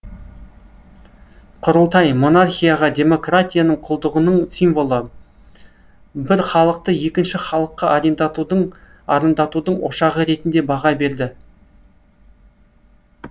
құрылтай монархияға демократияның құлдығының символы бір халықты екінші халыққа арандатудың ошағы ретінде баға берді